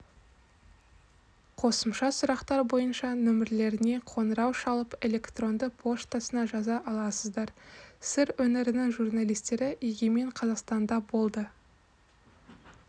қосымша сұрақтар бойынша нөмірлеріне қоңырау шалып электронды поштасына жаза аласыздар сыр өңірінің журналистері егемен қазақстанда болды